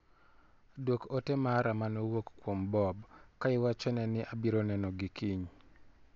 Duok ote mara mane owuok kuom Bob ka iwachone ni abiro neno gi kiny.